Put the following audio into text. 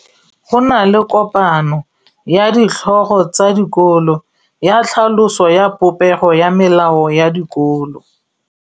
Go na le kopanô ya ditlhogo tsa dikolo ya tlhaloso ya popêgô ya melao ya dikolo.